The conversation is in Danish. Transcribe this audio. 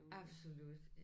Absolut